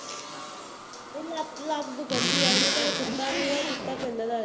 ਮੇਰੀ ਲੱਤ ਲੱਤ ਦੁਖਣ ਦੇਈ ਹੈ, ਉਹਦੇ ਘਰੇ ਕੁੱਤਾ ਵੀ ਨਾ, ਕੁੱਤਾ ਹੈ